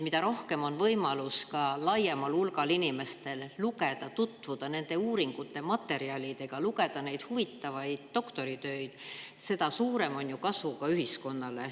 Mida rohkem on laiemal hulgal võimalusi tutvuda nende uuringute materjalidega, lugeda neid huvitavaid doktoritöid, seda suurem on ju kasu ühiskonnale.